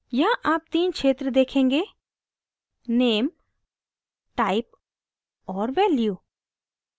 यहाँ आप तीन क्षेत्र देखेंगे: name type और value